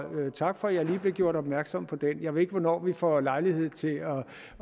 tak for at jeg blev gjort opmærksom på det jeg ved ikke hvornår vi får lejlighed til